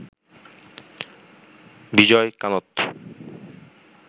Vijay Kanth